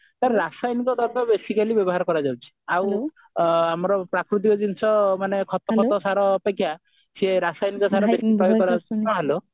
ତ ରାସାୟନିକ ଦ୍ରବ୍ୟ ବେଶି ଖାଲି ବ୍ୟବହାର କରାଯାଉଛି ଆଉ ଆମର ପ୍ରକୃତିକ ଜିନିଷ ମାନେ ଖତଫତ ସାର ଅପେକ୍ଷା ସେ ରାସାୟନିକ ସାର